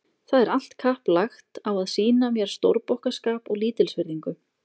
Það er allt kapp lagt á að sýna mér stórbokkaskap og lítilsvirðingu.